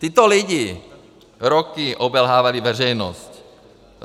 Tito lidé roky obelhávali veřejnost.